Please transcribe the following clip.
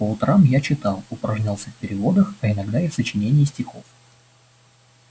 по утрам я читал упражнялся в переводах а иногда и в сочинении стихов